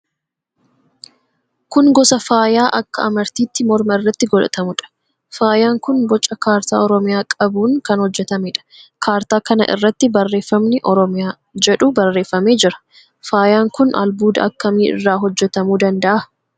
Kun gosa faayaa akka amartiitti morma irratti godhatamuudha. Faayaan kun boca kaartaa Oromiyaa qabuun kan hojjetameedha. Kaartaa kana irratti barreeffamni "OROMIYAA" jedhu barreeffamee jira. Faayaan kun albuuda akkamii irraa hojjetamuu danda'a?